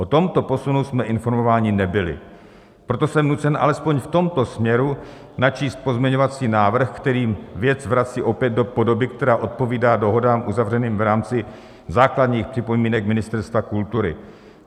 O tomto posunu jsme informováni nebyli, proto jsem nucen alespoň v tomto směru načíst pozměňovací návrh, který věc vrací opět do podoby, která odpovídá dohodám uzavřeným v rámci základních připomínek Ministerstva kultury.